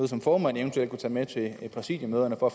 som formanden eventuelt kunne tage med til et præsidiemøde for